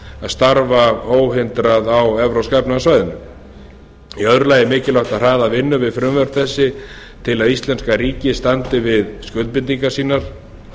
starfa óhindrað á evrópska efnahagssvæðinu í öðru lagi er mikilvægt að hraða vinnu við frumvörp þessi til að íslenska ríkið standi við skuldbindingar sínar